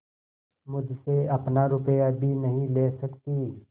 मुझसे अपना रुपया भी नहीं ले सकती